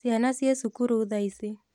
Ciana ciĩ cukuru thaa ici